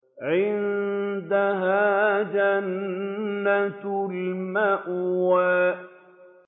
عِندَهَا جَنَّةُ الْمَأْوَىٰ